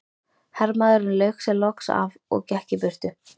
Hermaðurinn lauk sér loks af og gekk í burtu.